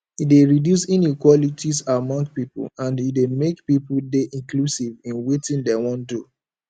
e de reduce inequalities among pipo and e de make pipo de inclusive in wetin dem won don